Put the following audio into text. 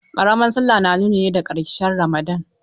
Ƙaramar sallah na nuni ne da ƙarshen Ramadan.